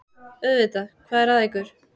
Auðvitað, hvað er að ykkur?